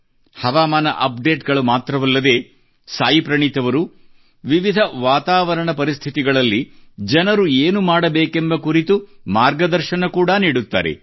ಹವಾಮಾನ ಅಪ್ಡೇಟ್ ಗಳು ಮಾತ್ರವಲ್ಲದೇ ಪ್ರಣೀತ್ ಅವರು ವಿವಿಧ ವಾತಾವರಣ ಪರಿಸ್ಥಿತಿಗಳಲ್ಲಿ ಜನರು ಏನು ಮಾಡಬೇಕೆಂಬ ಕುರಿತು ಮಾರ್ಗದರ್ಶನ ಕೂಡಾ ನೀಡುತ್ತಾರೆ